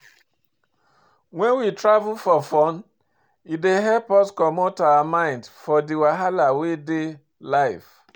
When we travel for fun, e dey help us comot our mind for di wahala wey dey life